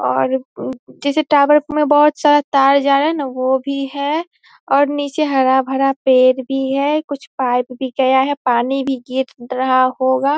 और उ उ किसी टॉवर में बहोत सारा तार जा रहा है ना वो भी है और निचे हरा-भरा पेड़ भी है कुछ पाइप भी गया है पानी भी गिर रहा होगा।